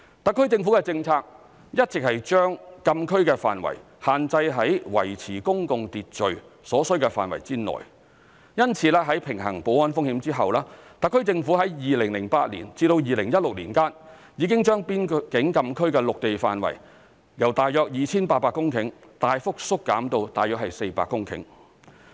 特區政府的政策一直是將禁區的範圍限制於維持公共秩序所需的範圍內，因此，在平衡保安風險後，特區政府已於2008年至2016年間，已將邊境禁區的陸地範圍由約 2,800 公頃大幅縮減至約400公頃。